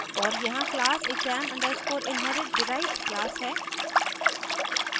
और यहाँ class exam _ inherit derived class है